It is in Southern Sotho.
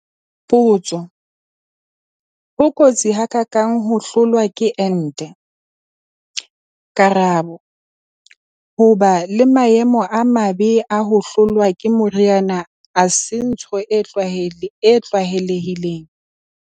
Potso- Ho kotsi ha ka kang ho hlolwa ke ente? Karabo- Ho ba le maemo a mabe a ho hlolwa ke moriana ha se ntho e tlwaelehileng.